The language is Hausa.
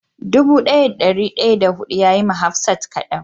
Dubu daya da dari daya da hudun ya yi ma hafsat kadan.